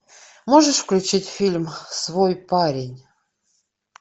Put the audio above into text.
можешь включить фильм свой парень